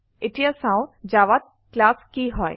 এতিয়া চাও জাভাত ক্লাছ কি হয়160